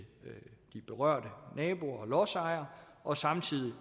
de berørte naboer og lodsejere og samtidig